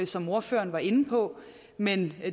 som ordføreren var inde på men